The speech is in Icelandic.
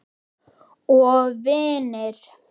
Og vinir.